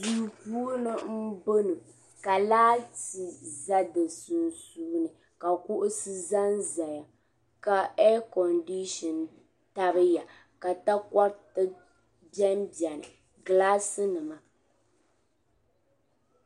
Din gbaari wuntaŋ n ʒɛya ŋɔ ka paɣiba anahi ʒɛdi gbuni. paɣibi maa pɛlila chinchina ka paɣisɔ zaŋ ɔnuu ni ɔgbaa din gbaari wuntaŋ maa, ka mɔri be dini.